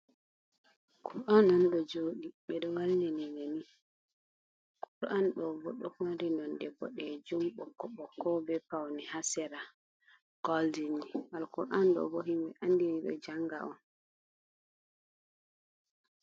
Kur’an non ɗo jodi ɓeɗo wallini nani kur’an ɗo bo ɗo mari nonde boɗejum, ɓokko ɓokko be pauni hasera goldin ni alkur’an ɗo bo himɓe andini ɗo janga on.